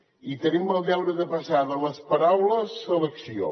i tenim el deure de passar de les paraules a l’acció